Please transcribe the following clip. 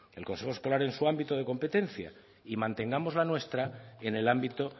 el consejo escolar en su ámbito de competencia y mantengamos la nuestra en el ámbito